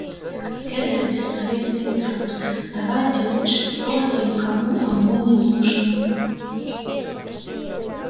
это бесполезный труд давайте лучше спросим кому оно не нужно